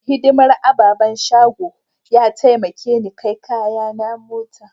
Mai hidimar a'babban shagon ya taimake ni kai kayaki na mota.